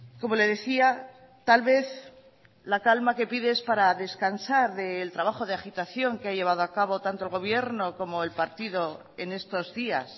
cómo le decía tal vez la calma que pide es para descansar del trabajo de agitación que ha llevado a cabo tanto el gobierno como el partido en estos días